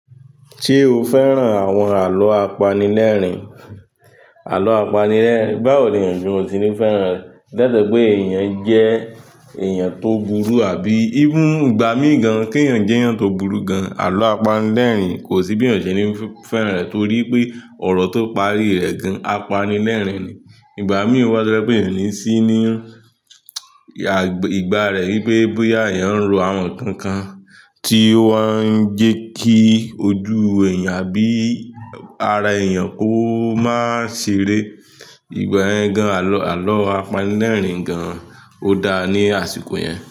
Ṣé o fẹ́ràn àwọn àlọ́ apanilẹ́rìn? Àlọ́ apanilẹ́rìn, báwo ni èèyàn o se níi fẹ́ràn rẹ̀? Lai se pé èèyàn jẹ́ èèyàn tó burú àbí? Even igbà mí gan kí èèyàn jẹ́ èèyàn tó burú gan, àlọ́ apanilẹ́rìn kò sí bí èèyàn o ṣe ní fẹ́ràn rẹ̀ torí pé ọ̀rọ̀ tó parí rẹ̀ gan, apanilẹ́rìn ni. Ìgbà mí wá to je pé èèyàn o ní sí ní ìgbà rẹ wípé bóyá èèyàn ń ro àwọn nǹkan kan tí o wa ń jẹ́ kí ojú èèyàn àbí ara èèyàn ó máa ṣeré. Ìgbà yẹ gan àlọ́, àlọ́ apanilẹ́rìn gan. O dáa ní àsìkò yẹn.